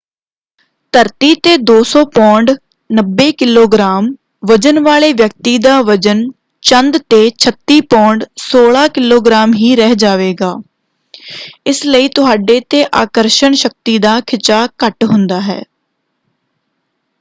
ਧਰਤੀ 'ਤੇ 200 pound 90 kilogram ਵਜ਼ਨ ਵਾਲੇ ਵਿਅਕਤੀ ਦਾ ਵਜ਼ਨ ਚੰਦ 'ਤੇ 36 ਪੌਂਡ 16 ਕਿਲੋਗ੍ਰਾਮ ਹੀ ਰਹਿ ਜਾਵੇਗਾ। ਇਸ ਲਈ ਤੁਹਾਡੇ 'ਤੇ ਆਕਰਸ਼ਣ ਸ਼ਕਤੀ ਦਾ ਖਿਚਾਅ ਘੱਟ ਹੁੰਦਾ ਹੈ।